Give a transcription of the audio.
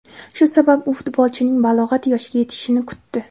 Shu sabab u futbolchining balog‘at yoshiga yetishishini kutdi.